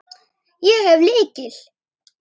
Ég hef lykil.